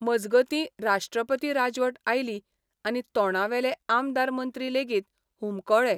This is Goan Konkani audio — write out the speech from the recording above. मजगतीं राष्ट्रपती राजवट आयली आनी तोंडावेले आमदार मंत्री लेगीत हुमकळे.